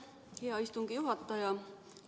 Aitäh, hea istungi juhataja!